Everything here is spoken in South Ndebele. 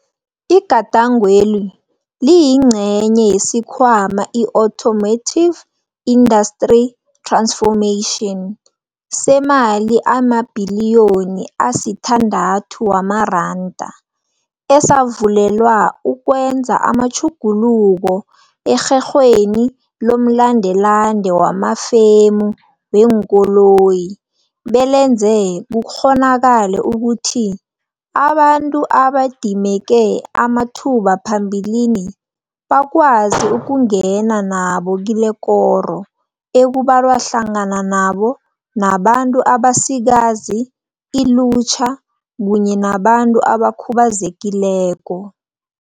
Igadangweli liyingcenye yesiKhwama i-Automotive Industry Transformation, semali emabhiliyoni asitha ndathu wamaranda, esavulelwa ukwenza amatjhuguluko erherhweni lomlandelande wamafemu weenkoloyi belenze kukghonakale ukuthi abantu ababedimeke amathuba phambilini bakwazi ukungena nabo kilekoro, ekubalwa hlangana nabo nabantu abasikazi, ilutjha kunye nabantu abakhubazekileko.